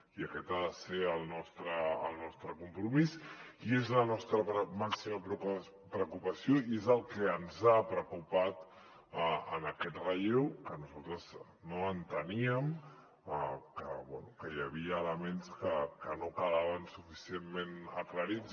i aquest ha de ser el nostre compromís i és la nostra màxima preocupació i és el que ens ha preocupat en aquest relleu que nosaltres no enteníem que bé que hi havia elements que no quedaven suficientment aclarits